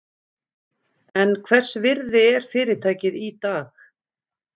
En hvers virði er fyrirtækið í dag?